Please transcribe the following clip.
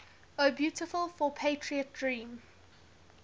o beautiful for patriot dream